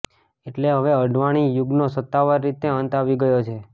એટલે હવે અડવાણી યુગનો સત્તાવાર રીતે અંત આવી ગયો છે